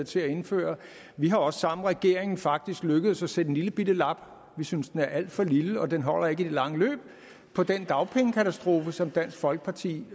til at indføre vi er også sammen med regeringen faktisk lykkedes med at sætte en lillebitte lap vi synes den er alt for lille og den holder ikke i det lange løb på den dagpengekatastrofe som dansk folkeparti